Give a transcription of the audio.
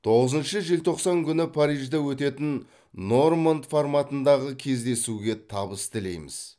тоғызыншы желтоқсан күні парижде өтетін норманд форматындағы кездесуге табыс тілейміз